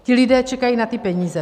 Ti lidé čekají na ty peníze.